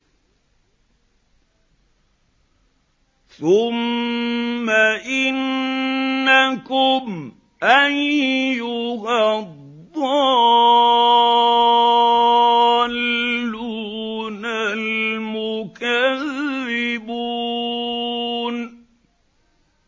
ثُمَّ إِنَّكُمْ أَيُّهَا الضَّالُّونَ الْمُكَذِّبُونَ